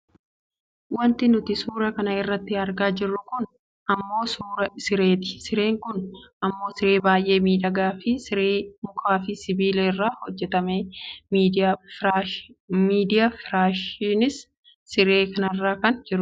Wanti nuti suuraa kana irratti argaa jirru kun ammoo suuraa sireeti. Sireen kun ammoo siree baayyee miidhagaa fi siree mukaa fi sibiila irraa hojjata media. Firaashiinis siree kanarra kan jirudha.